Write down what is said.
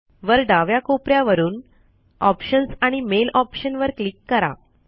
वर डाव्या कोपऱ्या वरून ऑप्शन्स आणि मेल ऑप्शन वर क्लिक करा